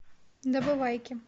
добывайки